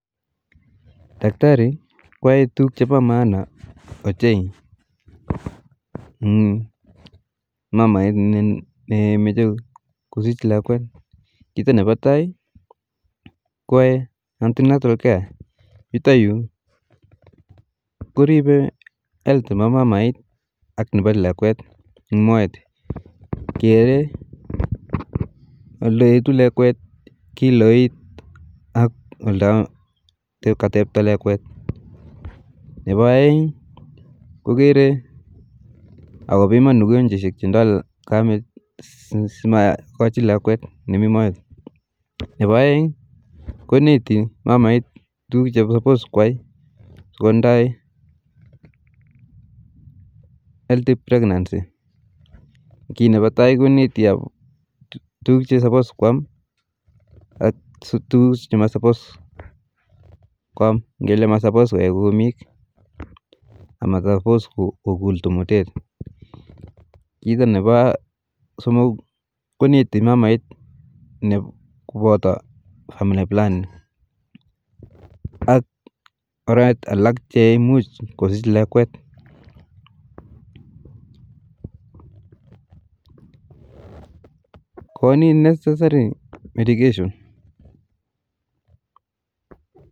Daktari koae tukuk chepa maana oche in mamait nemeche kosich lekwet kito nepa tai kuae antinal care ,yutayu kuripe health nepa mamait ak nepa lakwet eng moet kere ole etu lekwet, kiloit ak oldo katepta lakwet, nepa aeng kokere ako piman ukunjoishek che ndoi kamit si makoji lakwet ne mii moet, nepo aeng koneti mamait tukuk che supos kwai sokodai healthy pregnancy ,kii nepa tai konet tukuk che supos kwam ak tukuk che masupos kwam, ngele masupos koe kumik ak masupos kokul tomotet, kito nepo somok koneti mamait kopoto family planning ak oret alak che muj kosich lakwet, koni neccesary medication